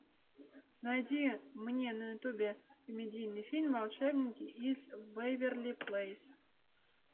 найди мне на ютубе комедийный фильм волшебники из вэйверли плэйс